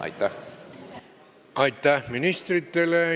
Aitäh ministritele!